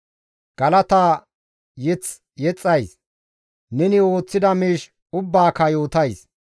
Galata mazamure yexxays; neni ooththida miish ubbaaka yootays.